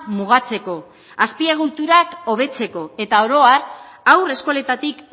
mugatzeko azpiegiturak hobetzeko eta oro har haur eskoletatik